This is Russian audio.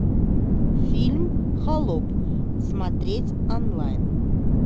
фильм холоп смотреть онлайн